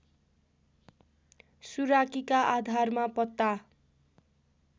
सुराकीका आधारमा पत्ता